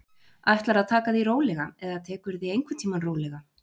Ætlarðu að taka því rólega, eða tekurðu því einhvern tímann rólega?